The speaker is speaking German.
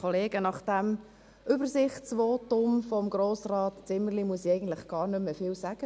Nach dem Übersichtsvotum von Grossrat Zimmerli muss ich nicht mehr viel sagen.